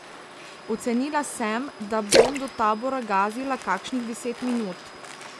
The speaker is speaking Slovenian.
Ocenila sem, da bom do tabora gazila kakšnih deset minut.